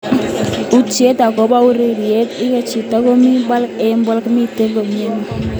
Utien akobo ureriet, iker chiti nengen komii pogol eng pogol miten kaimet neo.